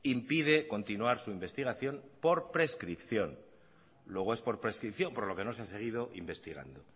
impide continuar su investigación por prescripción luego es por prescripción por lo que no se ha seguido investigando